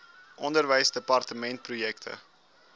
onderwysdepartementprojekte